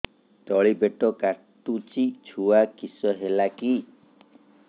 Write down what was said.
ତଳିପେଟ କାଟୁଚି ଛୁଆ କିଶ ହେଲା କି